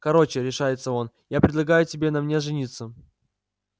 короче решается он я предлагаю тебе на мне жениться